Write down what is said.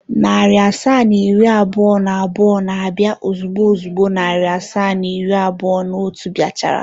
Narị asaa na iri abụọ na abụọ na-abịa ozugbo ozugbo narị asaa na iri abụọ na otu bịa chara.